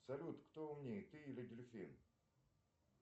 салют кто умнее ты или дельфин